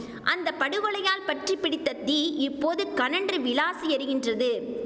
அந்த படுகொலையால் பற்றி பிடித்த தீ இப்போது கனன்று விளாசி எரிகின்றது